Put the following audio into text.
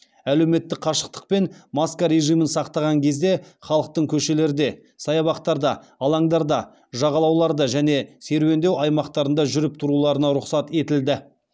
әлеуметтік қашықтық пен маска режимін сақтаған кезде халықтың көшелерде саябақтарда алаңдарда жағалауларда және серуендеу аймақтарында жүріп тұруларына рұқсат етілді